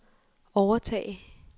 overtage